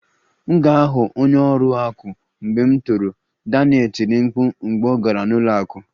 M ga-aghọ onye ọrụ akụ mgbe m toro, Daniel tiri mkpu mgbe ọ gara n'ụlọ akụ